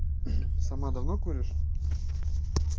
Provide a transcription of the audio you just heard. сама давно куришь